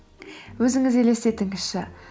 өзіңіз елестетіңізші